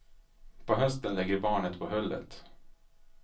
På hösten lägger barnet på hullet.